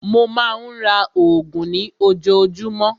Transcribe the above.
Mó má a ń ra oògùn ní ojoojúmọ́.